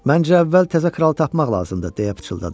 Məncə əvvəl təzə kralı tapmaq lazımdır, deyə pıçıldadı.